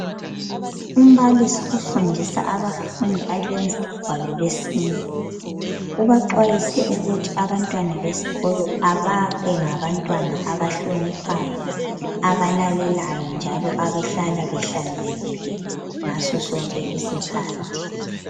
Umbalisi ofundisa abafundi abenza ugwalo lwesine, ubaxwayise ukuthi abantwana besikolo ababengabantwana abahloniphayo, abalalelayo njalo abahlala behlanzekile ngasosonke isikhathi.